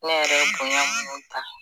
Ne yɛrɛ ye bonya munu ta.